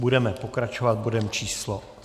Budeme pokračovat bodem číslo